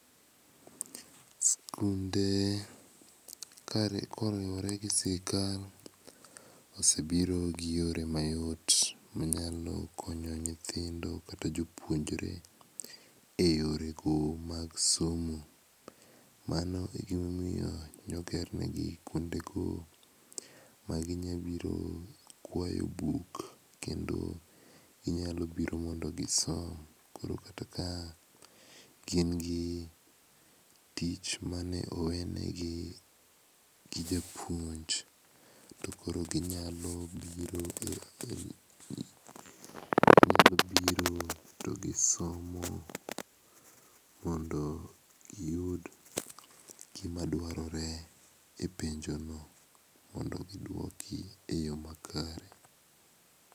Sikunde koriwore gi sirkal osebiro g yore mayot manyalo konyo nyithindo kata jopuonjre. Ema omiyo ne oger negi kuonde ma ginyalo biro kwayo buk, ginyalo biro mondo gisom koro kata kagin gi tich mane oweneg gi japuonj to koro ginyalo biro to gisomo mondo giyud gima dwarore e penjono mondo giduoki eyo makare.